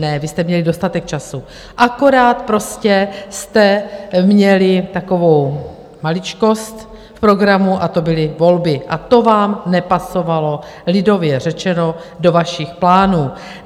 Ne, vy jste měli dostatek času, akorát prostě jste měli takovou maličkost v programu a to byly volby a to vám nepasovalo, lidově řečeno, do vašich plánů.